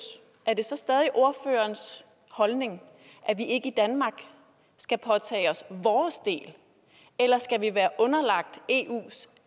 er det så stadig ordførerens holdning at vi ikke i danmark skal påtage os vores del eller skal vi være underlagt eus